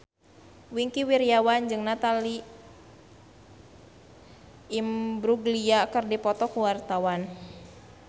Wingky Wiryawan jeung Natalie Imbruglia keur dipoto ku wartawan